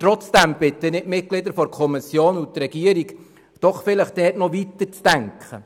Trotzdem bitte ich die Mitglieder der Kommission und die Regierung, doch noch etwas weiterzudenken.